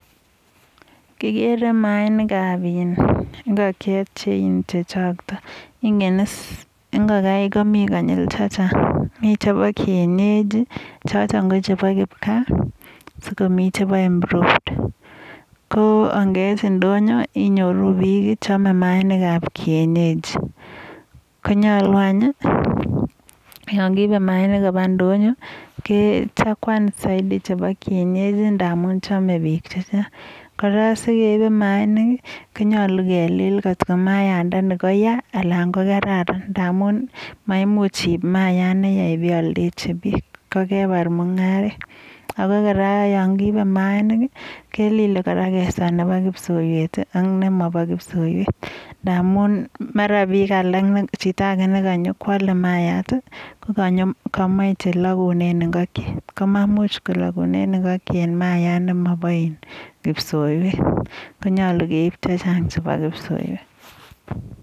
Kirere maainik ab ingokchet chechoktoi, inge is ingokaik komi konyil chechang.mi chebo kienyeji chotok ko chebo kipkaa, sikomi chebo improved. Ko ngeit ndoyo inyoru bik chamei maainik ab [cs[kienyeji. Konyalu anyun yon kiibei maainik koba ndoyo, konyalu anyun kechakuan saidi chebo kienyeji ndamun chamei bik chechang. Kora sikeibei maainik, konyalu kelil kotko maayandani koya anan ko kararan ndamun, maimuch iib maayat neya bialdechi bik, kokepar mung'aret. Ako kora yon kiibei maainik kelilei kora sikeswe nebo kipsoiwet ak nemobo kipsoiwet, ndamun mara bik alok anan chito age ne kanyo koalei maayat kokamachei nelogunen ingokchet. Komamuch kologunen ingokchet maayat nemabo kipsoiwet. Konyalu kei. Chechang chebo kipsoiwet.